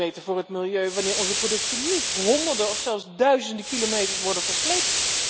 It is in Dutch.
Het is een stuk beter voor het milieu wanneer onze producten niet honderden of zelfs duizenden kilometers worden versleept.